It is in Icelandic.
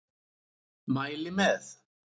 Mæli með.